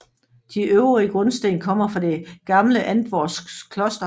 De øvrige grundsten kommer fra det gamle Antvorskov Kloster